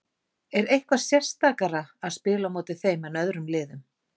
Er eitthvað sérstakara að spila á móti þeim en öðrum liðum?